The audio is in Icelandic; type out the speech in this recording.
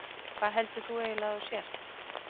Hvað heldur þú eiginlega að þú sért?